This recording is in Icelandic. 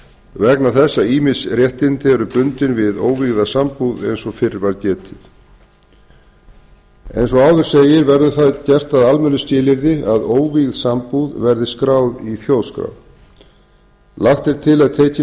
vegna þess að ýmis réttindi eru bundin við óvígða sambúð eins og fyrr var getið eins og áður segir verður það gert að almennu skilyrði að óvígð sambúð verði skráð í þjóðskrá lagt er til